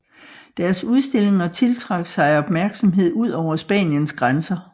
Deres udstillinger tiltrak sig opmærksomhed ud over Spaniens grænser